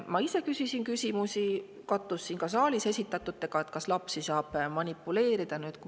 Ma ise küsisin küsimusi selle kohta, kas lapsi saab manipuleerida, need kattusid siin saalis esitatutega.